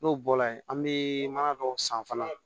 N'o bɔla ye an bɛ mana dɔw san fana